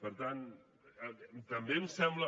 per tant també em sembla